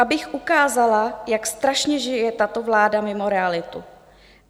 Abych ukázala, jak strašně žije tato vláda mimo realitu.